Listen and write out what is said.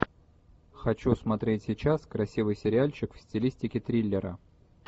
хочу смотреть сейчас красивый сериальчик в стилистике триллера